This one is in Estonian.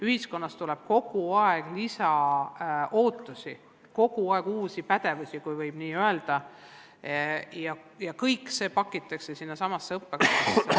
Ühiskonnast tuleb kogu aeg lisaootusi, kogu aeg nõutakse uusi pädevusi, kui võib nii öelda, ja kõik see pakitakse sinnasamasse õppekavasse.